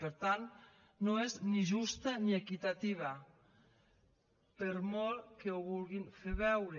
per tant no és ni justa ni equitativa per molt que ho vulguin fer veure